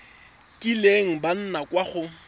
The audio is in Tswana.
kileng ba nna kwa go